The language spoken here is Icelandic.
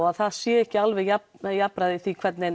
að það sé ekki alveg jafnræði jafnræði í því hvernig